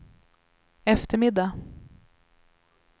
eftermiddag